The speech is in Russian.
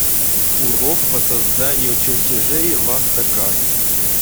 урок по созданию чертежей в автокад